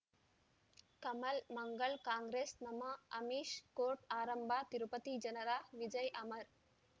ಕಮಲ್ ಮಂಗಳ್ ಕಾಂಗ್ರೆಸ್ ನಮಃ ಅಮಿಷ್ ಕೋರ್ಟ್ ಆರಂಭ ತಿರುಪತಿ ಜನರ ವಿಜಯ್ ಅಮರ್